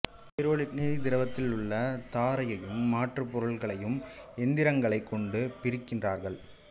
பைரோலிக்னிய திரவத்தில் உள்ள தாரையும் மற்றப் பொருள்களையும் எந்திரங்களைக் கொண்டு பிரிக்கிறார்கள்